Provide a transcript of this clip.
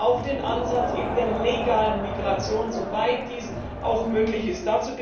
auch den Ansatz eben der legalen Migration, soweit dies auch möglich ist.